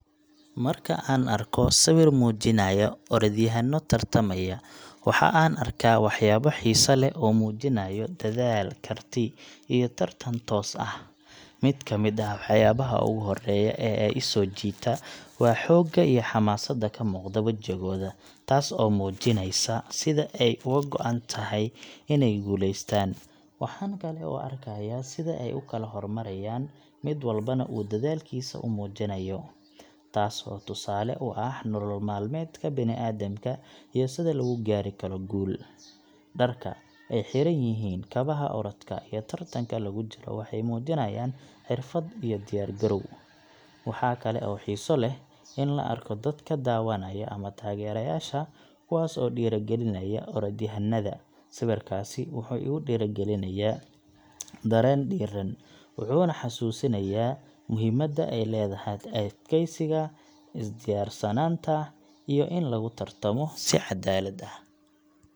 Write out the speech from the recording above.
Marka aan arko sawir muujinaya orodyahanno tartamaya, waxaan arkaa waxyaabo xiiso leh oo muujinaya dadaal, karti iyo tartan toos ah. Mid ka mid ah waxyaabaha ugu horreeya ee i soo jiita waa xoogga iyo xamaasadda ka muuqata wejigooda, taas oo muujinaysa sida ay uga go’an tahay inay guuleystaan. Waxaan kale oo arkayaa sida ay u kala hormarayaan, mid walbana uu dadaalkiisa u muujinayo, taas oo tusaale u ah nolol maalmeedka bini’aadamka iyo sida lagu gaari karo guul. Dharka ay xiran yihiin, kabaha orodka, iyo tartanka lagu jiro waxay muujinayaan xirfad iyo diyaar garow. Waxaa kale oo xiiso leh in la arko dadka daawanaya ama taageerayaasha, kuwaas oo dhiirrigelinaya orodyahannada. Sawirkaasi wuxuu igu dhalinayaa dareen dhiirran, wuxuuna xasuusinayaa muhiimadda ay leedahay adkaysiga, is diyaarsanaanta, iyo in lagu tartamo si caddaalad ah.